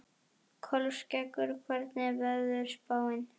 Kolskeggur, hvernig er veðurspáin?